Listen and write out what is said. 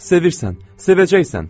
Sevirsən, sevəcəksən!